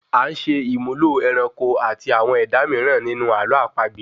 A ń ṣe ìmúlò ẹranko àti àwọn ẹ̀dá mìíràn ninu àlọ àpagbè